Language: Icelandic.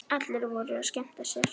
Allir voru að skemmta sér.